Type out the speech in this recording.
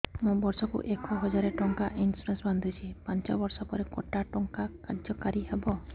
ମୁ ବର୍ଷ କୁ ଏକ ହଜାରେ ଟଙ୍କା ଇନ୍ସୁରେନ୍ସ ବାନ୍ଧୁଛି ପାଞ୍ଚ ବର୍ଷ ପରେ କଟା ଟଙ୍କା କାର୍ଯ୍ୟ କାରି ହେବ